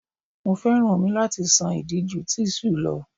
Mo féràn omi láti ṣan ìdí ju tíṣù lọ.